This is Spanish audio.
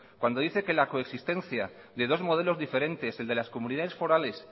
cuando dice que la coexistencia de dos modelos diferentes el de las comunidades forales